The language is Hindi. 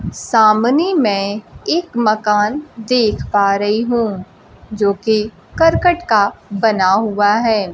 सामने मैं एक मकान देख पा रही हूं जो कि कर्कट का बना हुआ है।